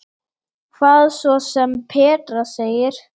Hvað svo sem Petra segir.